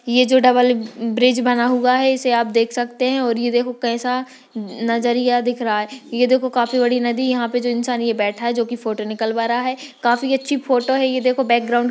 ये जो double bridge बना हुआ है इसे आप देख सकते हैंऔर ये देखो कैसा नजरिया दिख रहा है ये देखो काफी बड़ी नदी यहाँ पे जो इंसान ये बैठा है जो की फोटो निकल वा रहा है काफी अच्छी फोटो है ये देखो बैकग्राउंड ।